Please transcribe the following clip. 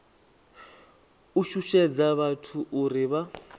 u shushedza vhathu uri vha